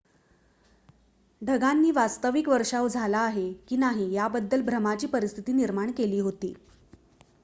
ढगांनी वास्तविक वर्षाव झाला आहे की नाही याबद्दल भ्रमाची परिस्थिती निर्माण केली होती